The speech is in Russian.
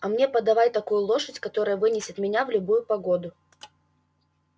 а мне подавай такую лошадь которая вынесет меня в любую погоду